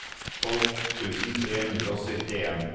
tolv tusen tre hundre og syttien